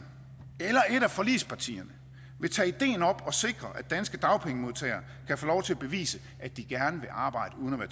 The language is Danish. eller et af forligspartierne vil tage ideen op og sikre at danske dagpengemodtagere kan få lov til at bevise at de gerne vil arbejde uden at